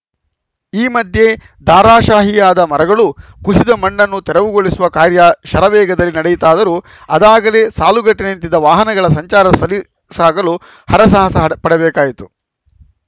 ಈ ಮಧ್ಯೆ ದಾರಾಶಾಹಿಯಾದ ಮರಗಳು ಕುಸಿದ ಮಣ್ಣನ್ನು ತೆರವುಗೊಳಿಸುವ ಕಾರ್ಯ ಶರವೇಗದಲ್ಲಿ ನಡೆಯಿತಾದರೂ ಅದಾಗಲೇ ಸಾಲುಗಟ್ಟಿನಿಂತ ವಾಹನಗಳ ಸಂಚಾರ ಸಲೀಸಾಗಲು ಹರಸಾಹಸ ಪಡಬೇಕಾಯಿತು